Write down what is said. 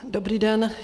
Dobrý den.